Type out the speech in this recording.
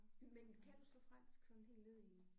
Men kan du så fransk sådan helt ned i